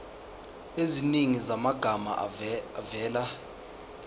eziningi zamagama avela